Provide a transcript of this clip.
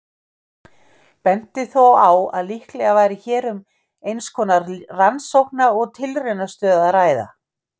Benti þó á að líklega væri hér um eins konar rannsókna- og tilraunastöð að ræða.